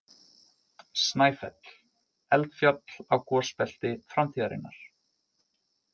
Snæfell- Eldfjall á gosbelti framtíðarinnar.